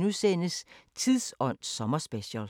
Samme programflade som øvrige dage